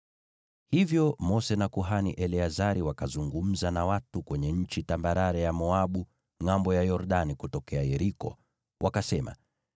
Hivyo Mose na kuhani Eleazari wakazungumza na watu kwenye nchi tambarare ya Moabu, ngʼambo ya Yordani kutokea Yeriko, wakasema,